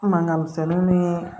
Mankan misɛnninw ni